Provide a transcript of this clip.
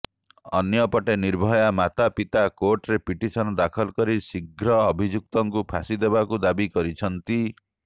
ଅନ୍ୟପଟେ ନିର୍ଭୟା ମାତା ପିତା କୋର୍ଟରେ ପିଟିସନ୍ ଦାଖଲ କରି ଶିଘ୍ର ଅଭିଯୁକ୍ତମାନଙ୍କୁ ଫାଶୀ ଦେବାକୁ ଦାବି କରିଛନ୍ତି